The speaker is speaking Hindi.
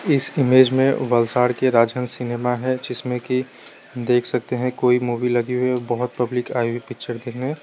इस इमेज मे वलसाड के राजहंस सिनेमा है जिसमें की देख सकते है कोई मूवी लगी हुई है बहोत पब्लिक आई हुई पिक्चर देखने--